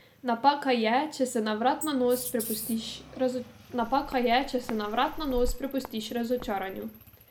Napaka je, če se na vrat na nos prepustiš razočaranju.